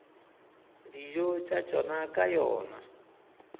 dijo tša tšona ka yona